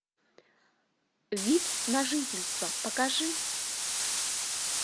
вид на жительство покажи